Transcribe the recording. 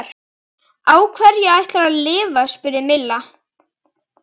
Á hverju ætlarðu að lifa? spurði Milla.